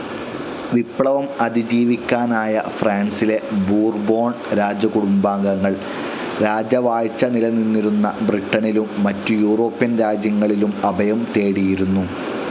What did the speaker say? വിപ്ലവം അതിജീവിക്കാനായ ഫ്രാൻസിലെ ബോർബൺ രാജകുടുംബാംഗങ്ങൾ, രാജവാഴ്ച നിലനിന്നിരുന്ന ബ്രിട്ടനിലും മറ്റു യൂറോപ്യൻ രാജ്യങ്ങളിലും അഭയം തേടിയിരുന്നു.